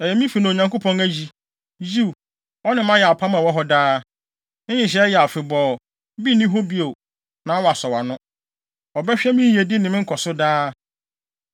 “Ɛyɛ me fi na Onyankopɔn ayi. Yiw, ɔne me ayɛ apam a ɛwɔ hɔ daa. Ne nhyehyɛe yɛ afebɔɔ, bi nni hɔ bio, na wɔasɔw ano. Ɔbɛhwɛ me yiyedi ne me nkɔso daa.